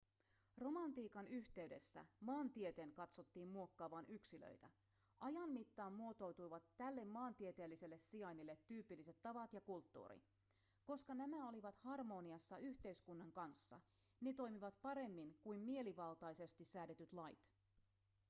romantiikan yhteydessä maantieteen katsottiin muokkaavan yksilöitä ajan mittaan muotoutuivat tälle maantieteelliselle sijainnille tyypilliset tavat ja kulttuuri koska nämä olivat harmoniassa yhteiskunnan kanssa ne toimivat paremmin kuin mielivaltaisesti säädetyt lait